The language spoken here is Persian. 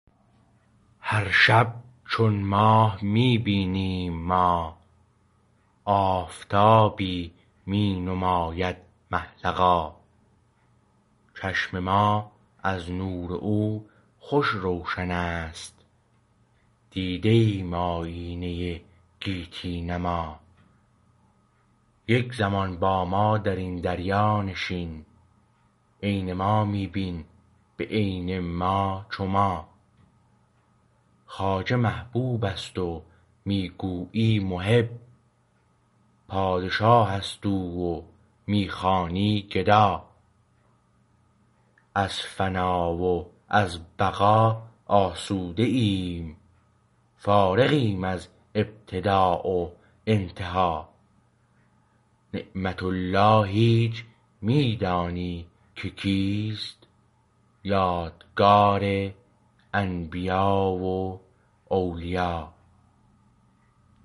هر شب چون ماه می بینیم ما آفتابی می نماید مه لقا چشم ما از نور او خوش روشن است دیده ایم آیینه گیتی نما یک زمان با ما در این دریا نشین عین ما می بین به عین ما چو ما خواجه محبوبست و می گویی محب پادشاه است او و می خوانی گدا از فنا و از بقا آسوده ایم فارغیم از ابتدا و انتها نعمت الله هیچ می دانی که کیست یادگار انبیا و اولیا